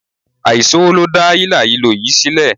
Àìsówó ló dá hílàhílo yìí sílẹ̀.